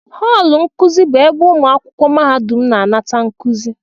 họọlụ nkuzi bụ ebe ụmụ akwụkwọ mahadum na-anata nkuzi